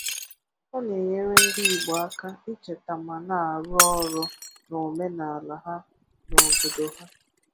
Ọ na-enyere ndị Igbo aka icheta ma na-arụ ọrụ na omenala ha na obodo ha.